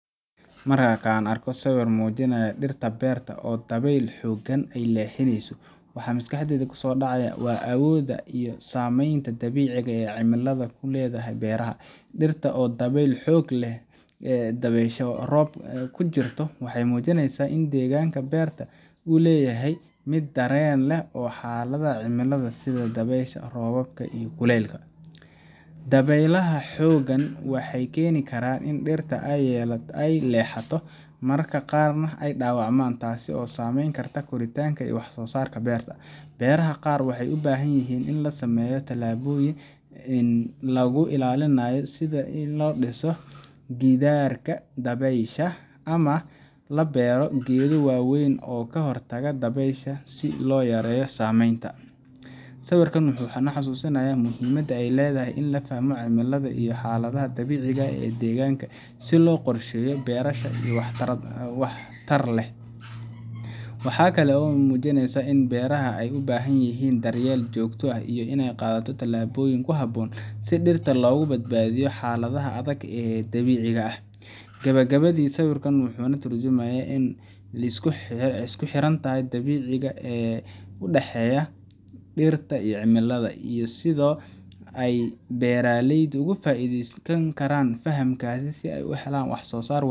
Marka aan arko sawir muujinaya dhirta beerta oo dabayl xooggan ay leexinayso, waxa maskaxdayda ku soo dhacaya awoodda iyo saamaynta dabiiciga ah ee cimilada ku leedahay beeraha. Dhirta oo dabayl xoog leh ku jirto waxay muujineysaa in deegaanka beerta uu yahay mid dareen u leh xaaladaha cimilada sida dabaysha, roobka, iyo kuleylka. Dabaylaha xooggan waxay keeni karaan in dhirta ay leexato, mararka qaarna ay dhaawacmaan, taasoo saamayn karta koritaanka iyo wax soo saarka beerta. Beeraha qaar waxay u baahan yihiin in la sameeyo tallaabooyin lagu ilaalinayo sida in la dhiso gidaarka dabaysha, ama in la beero geedo waaweyn oo ka hortaga dabaysha si loo yareeyo saameynta. Sawirkan wuxuu ina xasuusinayaa muhiimadda ay leedahay in la fahmo cimilada iyo xaaladaha dabiiciga ah ee deegaanka si loo qorsheeyo beerashada si waxtar leh. Waxaa kale oo uu muujinayaa in beeraha ay u baahan yihiin daryeel joogto ah, iyo in la qaato tallaabooyin ku habboon si dhirta loogu badbaadiyo xaaladaha adag ee dabiiciga ah. Gabagabadii, sawirkan wuxuu ka tarjumayaa isku xirnaanta dabiiciga ah ee u dhaxaysa dhirta iyo cimilada, iyo sida ay beeralaydu uga faa’iideysan karaan fahamkaas si ay u helaan wax soo saar